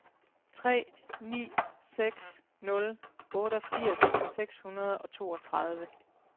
tre ni seks nul otteogfirs seks hundrede og toogtredive